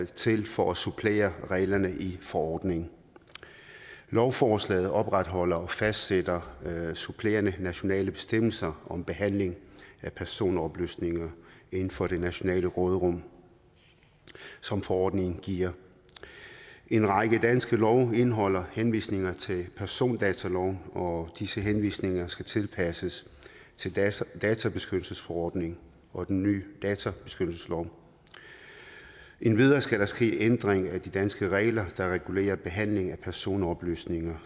til for at supplere reglerne i forordningen lovforslaget opretholder og fastsætter supplerende nationale bestemmelser om behandling af personoplysninger inden for det nationale råderum som forordningen giver en række danske love indeholder henvisninger til persondataloven og disse henvisninger skal tilpasses tilpasses databeskyttelsesforordningen og den nye databeskyttelseslov endvidere skal der ske en ændring af de danske regler der regulerer behandlingen af personoplysninger